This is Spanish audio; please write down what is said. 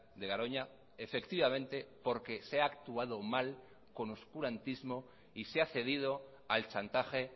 de garoña efectivamente porque se ha actuado mal con oscurantismo y se ha cedido al chantaje